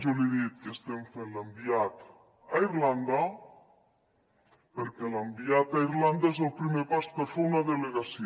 jo li he dit que estem fent l’enviat a irlanda perquè l’enviat a irlanda és el primer pas per fer una delegació